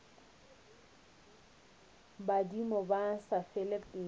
badimo ba sa fele pelo